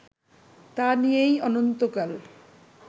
তা নিয়েই অনন্তকাল